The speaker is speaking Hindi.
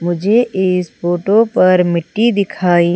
मुझे इस फोटो पर मिट्टी दिखाई--